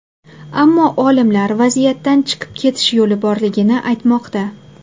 Ammo olimlar vaziyatdan chiqib ketish yo‘li borligini aytmoqda.